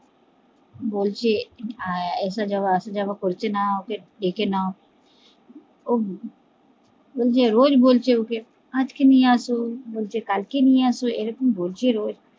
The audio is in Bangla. বলছি আসা যাওয়া আসা যাওয়া করছে না ওকে ডেকে নাও বলছে রোজ বলছে ওকে আজকে নিয়ে এস বলছে কালকে নিয়ে আসো